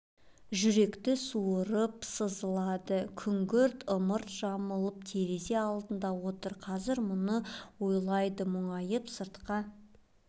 жүректі суырып сызылады күңгірт ымыртты жамылып терезе алдында отыр қазір мұны ойлайды мұңайып сыртқа